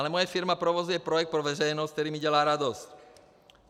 Ale moje firma provozuje projekt pro veřejnost, který mi dělá radost.